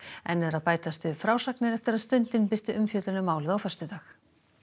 enn eru að bætast við frásagnir eftir að Stundin birti umfjöllun um málið á föstudag